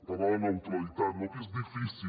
parlava de la neutralitat no que és difícil